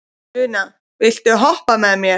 Úna, viltu hoppa með mér?